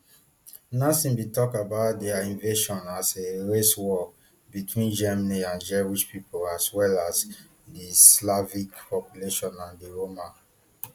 nazis bin tok about dia invasion as a race war between germany and jewish pipo as well as di slavic population and di roma